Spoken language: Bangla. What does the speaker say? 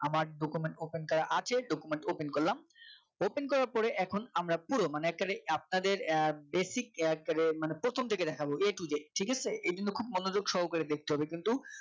আমার document open করা আছে document open করলাম open করা পরে এখন আমরা পুরো মানে এক্কারে আপনাদের আহ বেসিক এক্কারে মানে প্রথম থেকে দেখাবো a to z ঠিক আছে এই জন্য খুব মনোযোগ সহকারে দেখতে হবে কিন্তু।